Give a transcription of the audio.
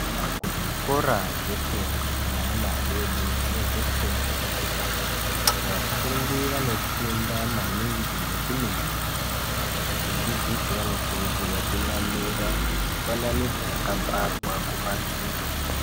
Kuzvikora zvefundo yeana adodori nezvefundo yekutanga vafundi vanofunda maningi ngekuningira vadzidzisi vanokurudzirwa kunamira mifananidzo yakabharwa kumadziro.